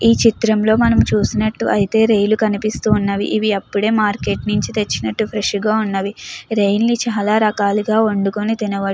ఈ చిత్రంలో మనం చూసినట్టు అయితే రొయ్యలు కనిపిస్తున్నవి. ఇవి అప్పుడే మార్కెట్ నుంచి తెచ్చినట్టు ఫ్రెష్ గా ఉన్నవి. రొయ్యలు చాలా రకాలుగా వండుకొని తినవచ్చు.